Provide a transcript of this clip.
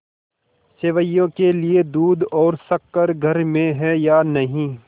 सेवैयों के लिए दूध और शक्कर घर में है या नहीं